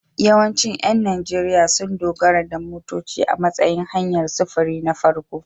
Yawancin ƴan Najeriya sun dogara da motoci a matsayin hanyar sufuri na farko.